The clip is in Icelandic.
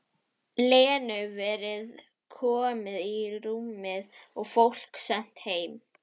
Lenu verið komið í rúmið og fólk sent heim.